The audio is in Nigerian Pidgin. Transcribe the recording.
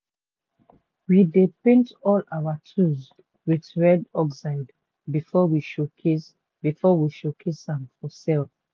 we dey paint all our tools wit red oxide before we showcase we showcase am for sell.